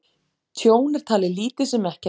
Tjón er talið lítið sem ekkert